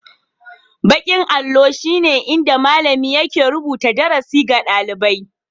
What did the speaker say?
Baƙin allo shine inda malami yake rubuta darasi ga ɗalibai